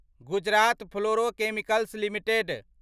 Gujarat fluorochemicals limited